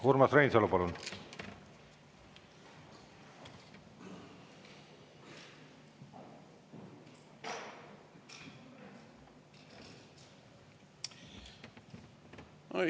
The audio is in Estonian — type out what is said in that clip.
Urmas Reinsalu, palun!